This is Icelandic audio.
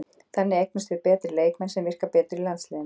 Þannig eignumst við betri leikmenn sem virka betur í landsliðinu.